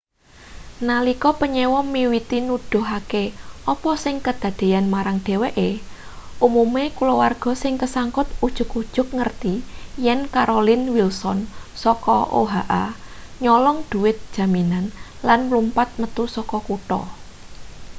nalika panyewa miwiti nuduhake apa sing kedadeyan marang dheweke umume kulawargane sing kesangkut ujug-ujug ngerti yen carolyn wilson saka oha nyolong dhuwit jaminan lan mlumpat metu saka kutha